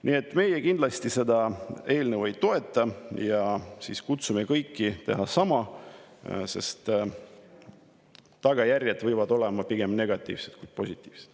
Nii et meie kindlasti seda eelnõu ei toeta ja kutsume kõiki tegema sama, sest tagajärjed võivad olla pigem negatiivsed kui positiivsed.